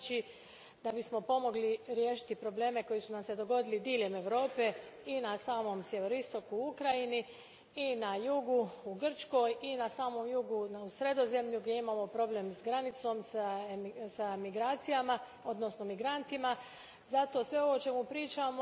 Znači, da bismo pomogli riješiti probleme koji su nam se dogodili diljem Europe i na samom sjeveroistoku u Ukrajini i na jugu u Grčkoj i na samom jugu u Sredozemlju gdje imamo problem s granicom, s imigracijama odnosno migrantima, lijepo je da